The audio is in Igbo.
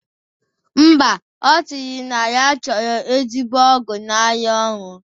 Mba, ọ sịrị na ya chọrọ ezigbo ọgwụ na-arụ ọrụ